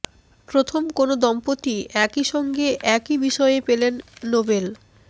প্রথম কোন দম্পতি একই সঙ্গে একই বিষয়ে পেলেন নোবেল